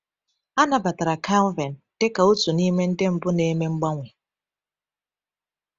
A nabatara Calvin dị ka otu n’ime ndị mbụ na-eme mgbanwe.